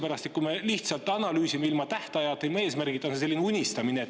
Kui me lihtsalt analüüsime ilma tähtajata, ilma eesmärgita, siis on see unistamine.